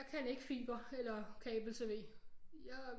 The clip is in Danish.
Jeg kan ikke fiber eller kabel-tv jeg